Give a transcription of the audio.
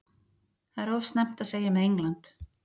Það er of snemmt að segja með England.